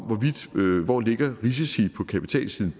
hvor risici på kapitalsiden